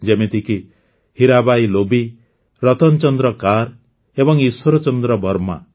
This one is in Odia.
ଯେମିତିକି ହୀରାବାଈ ଲୋବି ରତନ ଚନ୍ଦ୍ର କାର ଏବଂ ଈଶ୍ୱର ଚନ୍ଦ୍ର ବର୍ମା